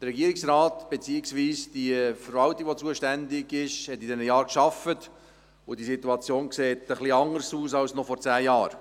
Der Regierungsrat beziehungsweise die zuständige Verwaltung hat in diesen Jahren gearbeitet, und die Situation sieht ein wenig anders aus als noch vor zehn Jahren.